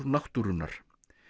náttúrunnar